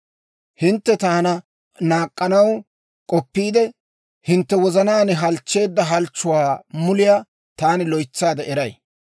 «Hintte taana naak'k'anaw k'oppiide, hintte wozanaan halchcheedda halchchuwaa muliyaa taani loytsaade eray.